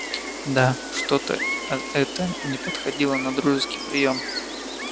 да что-то э это не подходило на дружеский приём